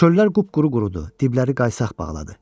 Çöllər qupquru qurudu, dibləri qaysaq bağladı.